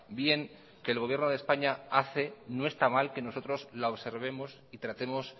bien que el gobierno de españa hace no está mal que nosotros la observemos y tratemos